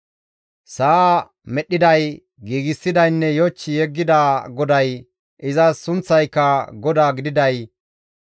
Sa7aa medhdhiday, giigsidaynne yoch yeggida GODAY, izas sunththayka GODAA gididay,